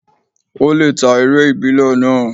Ó lè ta eré ìbílẹ̀ náà.